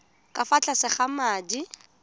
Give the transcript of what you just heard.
ka fa tlase ga madi